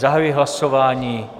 Zahajuji hlasování.